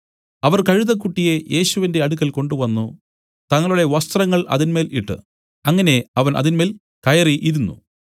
അവർ കഴുതക്കുട്ടിയെ യേശുവിന്റെ അടുക്കൽ കൊണ്ടുവന്നു തങ്ങളുടെ വസ്ത്രങ്ങൾ അതിന്മേൽ ഇട്ട് അങ്ങനെ അവൻ അതിന്മേൽ കയറി ഇരുന്നു